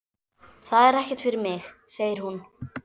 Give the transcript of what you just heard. Það er ekkert fyrir mig, segir hún.